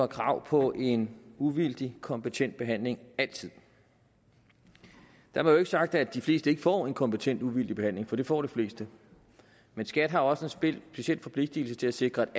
krav på en uvildig kompetent behandling altid dermed ikke sagt at de fleste ikke får en kompetent uvildig behandling for det får de fleste men skat har også en speciel forpligtelse til at sikre